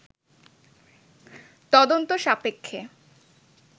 তদন্ত সাপেক্ষে